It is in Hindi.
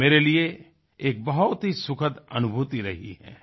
यह मेरे लिए एक बहुत ही सुखद अनुभूति रही है